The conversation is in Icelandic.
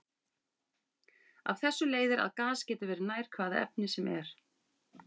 Af þessu leiðir að gas getur verið nær hvaða efni sem er.